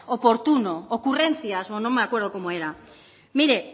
oportuno ocurrencias o no me acuerdo cómo era mire